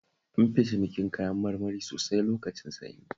An fi cinikin kayan marmari sosai lokacin sanyi